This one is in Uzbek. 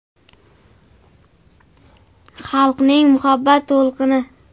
Xalqning muhabbat to‘lqini?